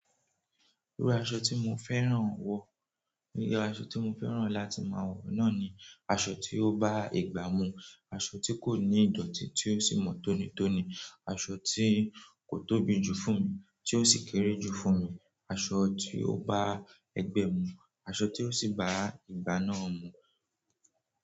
Irú aṣọ tí mo fẹ́ràn wọ̀, irú aṣọ tí mo fẹ́ràn láti máa wọ̀ náà ni aṣọ tí ó bá ìgbà mu, aṣọ tí kò ní ìdọ̀tí tí ó sì mọ tónítóni, aṣọ tí kò tóbi jù fún mi tí ó sì kéré jù fún mi, aṣọ tí ó bá ẹgbẹ́ mu, aṣọ tí ó sì bá ìgbà náà mu.